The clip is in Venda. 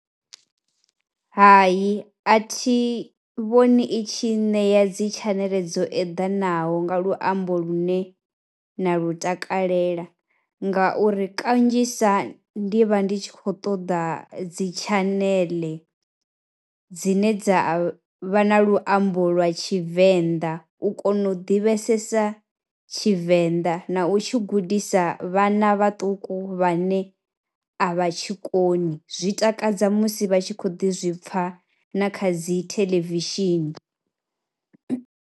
Hai a thi vhoni i tshi ṋea dzi tshaneḽe dzo eḓanaho nga luambo lune nda lu takalela ngauri kanzhisa ndi vha ndi tshi khou ṱoḓa dzi tshaneḽe dzine dza vha na luambo lwa Tshivenḓa, u kona u ḓivhesesa Tshivenḓa na u tshi gudisa vhana vhaṱuku vhane a vha tshi koni, zwi takadza musi vha tshi khou ḓi zwi pfha na kha dzi theḽevishini.